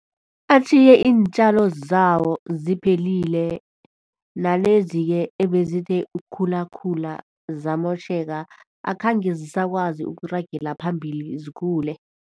Atjhiye iintjalo zawo ziphelile nalezike ebezithe ukukhulakhula ziyamotjheka akhange zisakwazi ukuragela phambili zikhule.